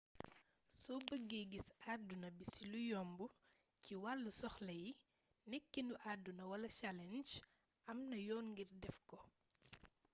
so bëge gis aduna bi si lu yomb ci walu soxla yi nekenu aduna wala challenge amna yoon ngir defko